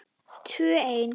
Tvö ein.